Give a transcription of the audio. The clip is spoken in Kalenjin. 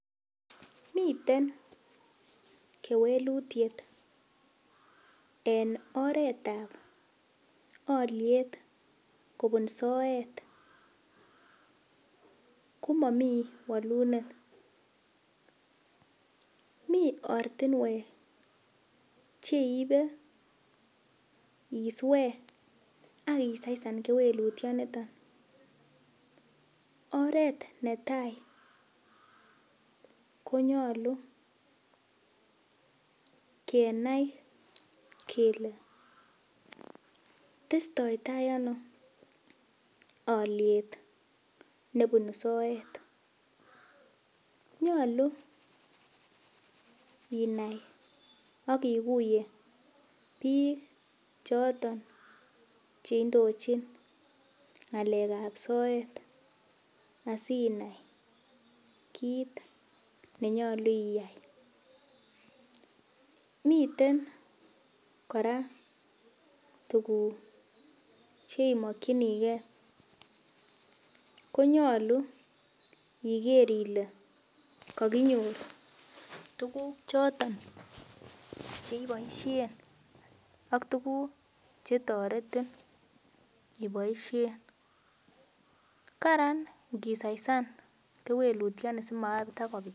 Miten kewelitiet en oretab oliet kobun soet komami walunet. Mi ortinwek cheibe isue ak isaisan kewelitionito. Oret ne tai konyalu kenai kele testoi tai ano alyet nebunu soet. Nyalu inai ak iguye biik choton che indochin ngalekab soet asinai kit nenyalu iyai. Miten kora tuguk cheimokyinige ko nyalu iger ile kakinyor tuguk choton cheiboisien ak tuguk chetoretin iboisien. Kararan kisaisan kewelutioni simatakopit